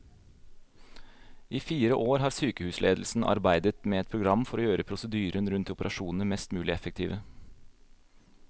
I fire år har sykehusledelsen arbeidet med et program for å gjøre prosedyrene rundt operasjonene mest mulig effektive.